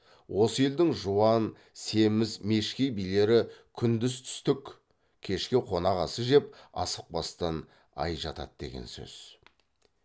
осы елдің жуан семіз мешкей билері күндіз түстік кешке қонақ асы жеп асықпастан ай жатады деген сөз